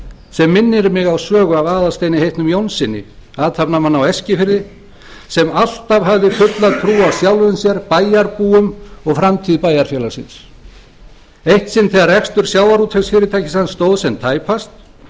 sem minnir mig á sögu af aðalsteini heitnum jónssyni athafnamanni á eskifirði sem alltaf hafði fulla trú á sjálfum sér bæjarbúum og framtíð bæjarfélagsins eitt sinn þegar rekstur sjávarútvegsfyrirtækis hans stóð sem tæpast